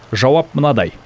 жауап мынадай